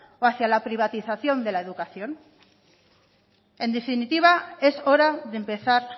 o hacia la privatización de la educación en definitiva es hora de empezar